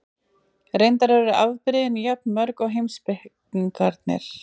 Reyndar eru afbrigðin jafn mörg og heimspekingarnir.